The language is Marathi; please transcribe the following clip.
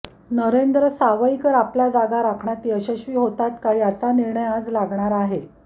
नरेंद्र सावईकर आपल्या जागा राखण्यात यशस्वी होतात का याचा निर्णय आज लागणार आहे